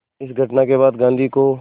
इस घटना के बाद गांधी को